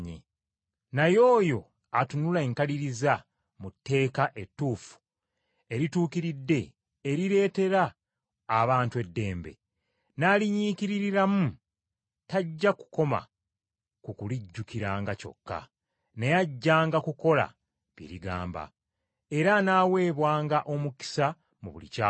Naye oyo atunula enkaliriza mu tteeka ettuufu erituukiridde erireetera abantu eddembe, n’alinyikiririramu tajja kukoma ku kulijjukiranga kyokka, naye ajjanga kukola bye ligamba, era anaaweebwanga omukisa mu buli ky’akola.